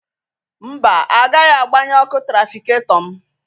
Mba, agaghị agbanye ọku trafiketọ m.